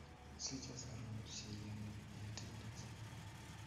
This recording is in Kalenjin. Sichei sorunet che 'yani Yetindet.